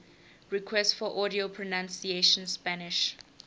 requests for audio pronunciation spanish